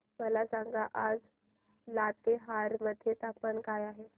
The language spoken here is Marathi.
मला सांगा आज लातेहार मध्ये तापमान काय आहे